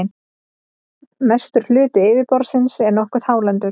mestur hluti yfirborðsins er nokkuð hálendur